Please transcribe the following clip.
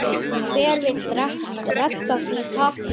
Hver vill redda því takk?